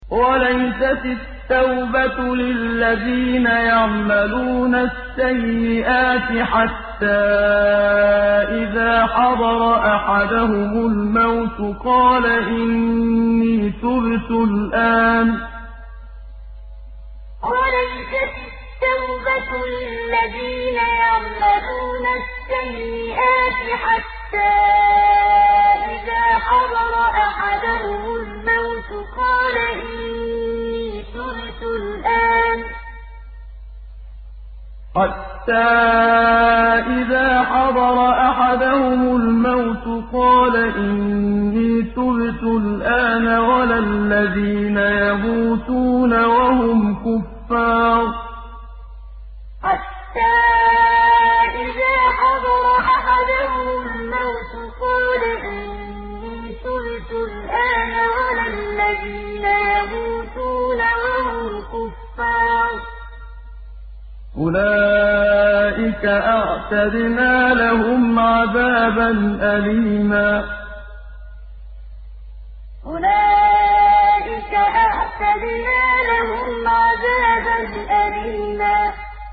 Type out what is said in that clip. وَلَيْسَتِ التَّوْبَةُ لِلَّذِينَ يَعْمَلُونَ السَّيِّئَاتِ حَتَّىٰ إِذَا حَضَرَ أَحَدَهُمُ الْمَوْتُ قَالَ إِنِّي تُبْتُ الْآنَ وَلَا الَّذِينَ يَمُوتُونَ وَهُمْ كُفَّارٌ ۚ أُولَٰئِكَ أَعْتَدْنَا لَهُمْ عَذَابًا أَلِيمًا وَلَيْسَتِ التَّوْبَةُ لِلَّذِينَ يَعْمَلُونَ السَّيِّئَاتِ حَتَّىٰ إِذَا حَضَرَ أَحَدَهُمُ الْمَوْتُ قَالَ إِنِّي تُبْتُ الْآنَ وَلَا الَّذِينَ يَمُوتُونَ وَهُمْ كُفَّارٌ ۚ أُولَٰئِكَ أَعْتَدْنَا لَهُمْ عَذَابًا أَلِيمًا